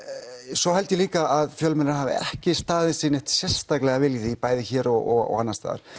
svo held ég líka að fjölmiðlar hafi ekki staðið sig neitt sérstaklega vel í því bæði hér og annars staðar